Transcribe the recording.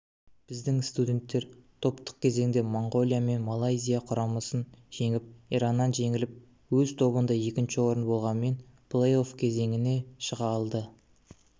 біздің студенттер құрамасы топтық кезеңде моңғолия мен малайзия құрамасын жеңіп ираннан жеңіліп өз тобында екінші орын болғанымен плей-офф кезеңіне шыға алды